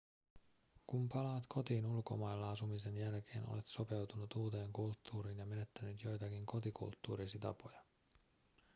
kun palaat kotiin ulkomailla asumisen jälkeen olet sopeutunut uuteen kulttuuriin ja menettänyt joitakin kotikulttuurisi tapoja